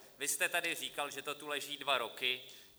Vy jste tady říkal, že to tu leží dva roky.